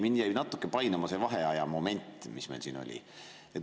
Mind jäi natuke painama see vaheajamoment, mis meil siin oli.